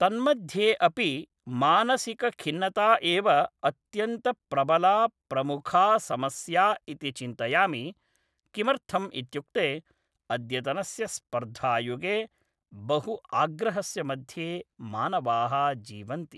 तन्मध्ये अपि मानसिकखिन्नता एव अत्यन्तप्रबला प्रमुखा समस्या इति चिन्तयामि किमर्थम् इत्युक्ते अद्यतनस्य स्पर्धायुगे बहु आग्रहस्य मध्ये मानवाः जीवन्ति